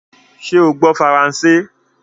Sé o gbó faransé?